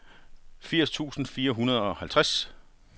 firs tusind fire hundrede og halvtreds